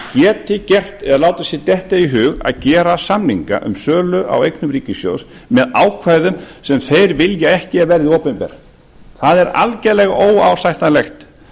geti látið sér detta í hug að gera samninga um sölu á eignum ríkissjóðs með ákvæðum sem þeir vilja ekki að verði opinber það er algjörlega óásættanlegt